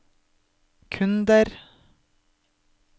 kunder